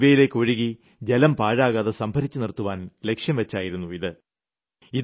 മഴവെള്ളം ഇവയിലേയ്ക്കൊഴുകി ജലം പാഴാക്കാതെ സംഭരിച്ച് നിർത്തുവാൻ ലക്ഷ്യം വച്ചായിരുന്നു ഇത്